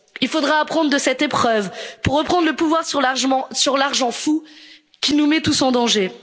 Il faudra apprendre de cette épreuve pour reprendre le pouvoir sur l'argent fou qui nous met tous